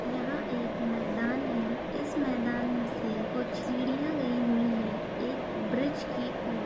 यहाँ एक मैदान है। इस मैदान से कुछ सीढ़ियाँ गई हुई हैं एक ब्रिज की ओर --